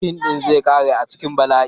Fim din zai kare a cikin bala'i.